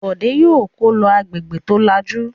Bọ̀dé yóò kó lọ agbègbè tó lajú!